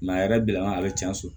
a yɛrɛ bila nga a bɛ tiɲɛ so